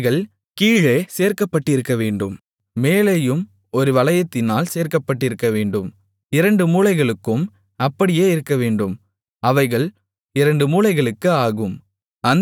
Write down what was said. அவைகள் கீழே சேர்க்கப்பட்டிருக்கவேண்டும் மேலேயும் ஒரு வளையத்தினால் சேர்க்கப்பட்டிருக்கவேண்டும் இரண்டு மூலைகளுக்கும் அப்படியே இருக்கவேண்டும் அவைகள் இரண்டு மூலைகளுக்கு ஆகும்